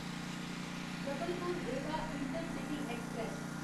Jabalpur Rewa intercity express